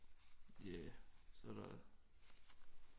Ja så er der